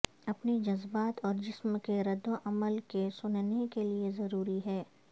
اپنے جذبات اور جسم کے رد عمل کو سننے کے لئے ضروری ہے